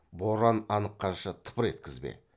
боран аныққанша тыпыр еткізбе